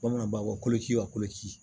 Bamanan b'a fɔ ko koloci wa koloci